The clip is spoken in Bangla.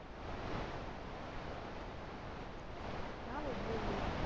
আমি বলি